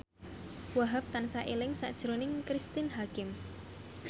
Wahhab tansah eling sakjroning Cristine Hakim